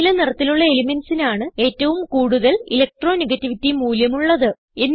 നീല നിറത്തിലുള്ള elementsന് ആണ് ഏറ്റവും കൂടുതൽ ഇലക്ട്രോണെഗേറ്റിവിറ്റി മൂല്യം ഉള്ളത്